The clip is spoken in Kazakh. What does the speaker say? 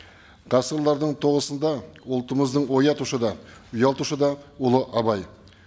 толысында ұлтымыздың оятушы да ұялтушы да ұлы абай